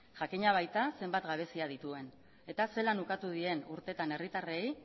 jakina baita zenbat gabezia dituen eta zelan ukatu dien urteetan herritarrei